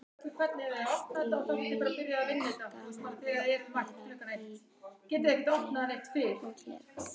Allt í einu er gaman að vera í útlegð.